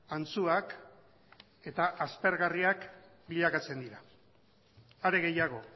antzuak eta aspergarriak bilakatzen dira are gehiago